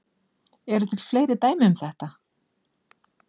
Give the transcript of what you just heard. Eru til fleiri dæmi um þetta?